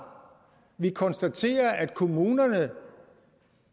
vi kan konstatere at kommunerne